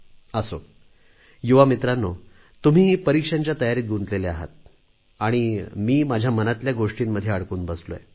असो युवा मित्रांनो तुम्ही परीक्षांच्या तयारीत गुंतलेले आहात आणि मी माझ्या मनातल्या गोष्टींमध्ये अडकून बसलोय